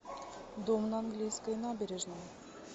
дом на английской набережной